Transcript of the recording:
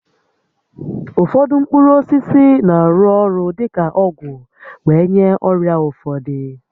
Ụfọdụ mkpụrụ osisi na-arụ orụ dị ka ọgwụ were nye ọrịa ụfọdụ